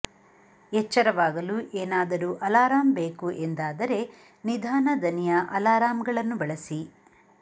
ಎಚ್ಚರವಾಗಲು ಏನಾದರೂ ಅಲಾರಾಂ ಬೇಕು ಎಂದಾದರೆ ನಿಧಾನ ದನಿಯ ಅಲಾರಾಂ ಗಳನ್ನು ಬಳಸಿ